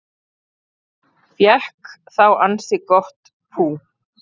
Fékk þá ansi gott pú